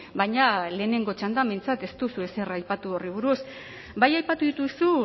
baina lehenengo txandan behintzat ez duzu ezer aipatu horri buruz bai aipatu dituzu